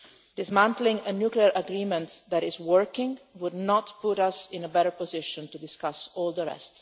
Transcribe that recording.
Dismantling a nuclear agreement that is working would not put us in a better position to discuss all the rest.